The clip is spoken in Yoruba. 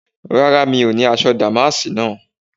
Rárá mi ò ní aṣọ dàmáàsì náà